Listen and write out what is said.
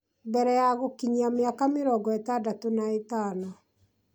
mbere ya gũkinyia mĩaka mĩrongo ĩtandatũ na ĩtano